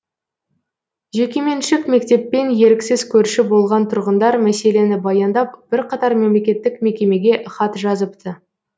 жекеменшік мектеппен еріксіз көрші болған тұрғындар мәселені баяндап бірқатар мемлекеттік мекемеге хат жазыпты